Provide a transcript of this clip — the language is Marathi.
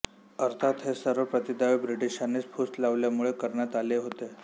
अर्थात हे सर्व प्रतिदावे ब्रिटिशांनीच फूस लावल्यामुळे करण्यात आले होते